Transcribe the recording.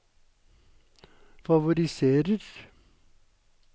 favoriserer